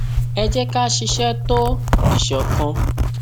ẹ jẹ ká a ṣiṣẹ tó ìṣọkan